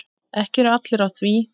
Ekki eru allir á því.